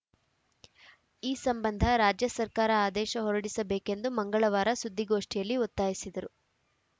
ಈ ಸಂಬಂಧ ರಾಜ್ಯ ಸರ್ಕಾರ ಆದೇಶ ಹೊರಡಿಸಬೇಕೆಂದು ಮಂಗಳವಾರ ಸುದ್ದಿಗೋಷ್ಠಿಯಲ್ಲಿ ಒತ್ತಾಯಿಸಿದರು